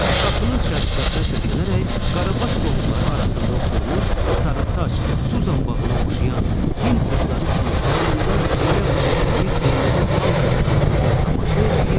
Qapının çərçivəsinə söykənərək qarabaş qohumları arasında oturmuş sarısaç, su zambağına oxşayan Hind qızları kimi alnında bayaq çəkdiyi qırmızı xal qızaran qızına tamaşa eləyir.